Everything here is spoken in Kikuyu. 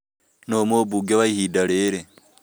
Nũũ mũmbunge wa ihinda rĩrĩ